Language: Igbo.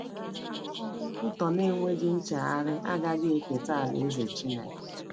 Ndị nkwutọ na-enweghị nchegharị agaghị eketa Alaeze Chineke.